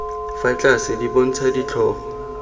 fa tlase di bontsha ditlhogo